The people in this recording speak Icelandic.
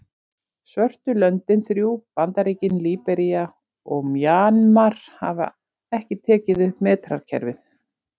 Svörtu löndin þrjú, Bandaríkin, Líbería og Mjanmar hafa ekki tekið upp metrakerfið.